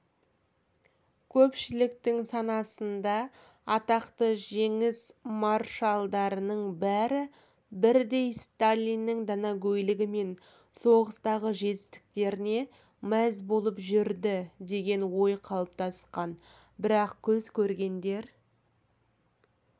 көпшіліктің санасында атақты жеңіс маршалдарының бәрі бірдей сталинннің данагөйлігі мен соғыстағы жетістіктеріне мәз болып жүрді деген ой қалыптасқан бірақ көз көргендер